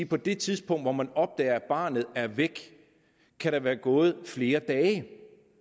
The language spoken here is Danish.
på det tidspunkt hvor man opdager at barnet er væk kan der være gået flere dage